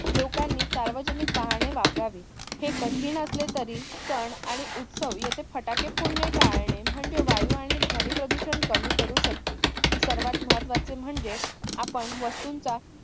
लोकांनी सार्वजनिक वाहने वापरावीत. हे कठीण असले तरी सण आणि उत्सव येथे फटाके फोडणे टाळणे म्हणजे वायू आणि ध्वनी प्रदूषण कमी करू शकते. सर्वात महत्वाचे म्हणजेच आपण वस्तूंचा